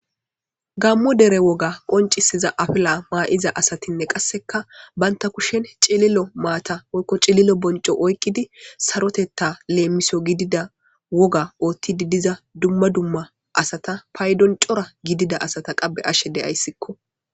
gammo dere woga qoncisiza afla maa7iza asatinne qasseka baynta kushen cililo maata oykko cililo bonco oykqidi sarotetta leemiso gidida woga oothtidi diza dumma dumma asata paydon cora gidida asata qabe ashe deyayssikko